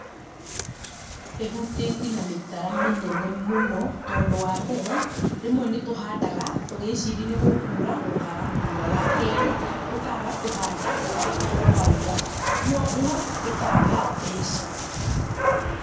ĩhutĩtie na mĩtara mĩnene mũno, tondũ wambere, rĩmwe nĩtũhandaga, tũgĩciri nĩgũkura, wa kerĩ, tũkaga kũhanda gũkaura, kwoguo, tũkaga mbeca.